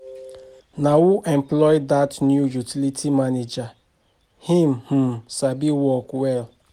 Na who employ dat new utility manager? He um sabi work well.